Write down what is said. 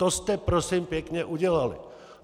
To jste prosím pěkně udělali.